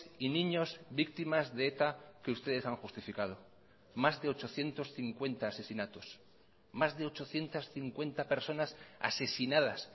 y niños víctimas de eta que ustedes han justificado más de ochocientos cincuenta asesinatos más de ochocientos cincuenta personas asesinadas